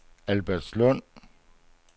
Albertslund